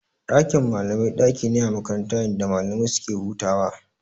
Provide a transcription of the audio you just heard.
Dakin malamai daki ne a makaranta inda malamai suke hutawa.